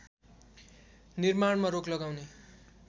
निर्माणमा रोक लगाउने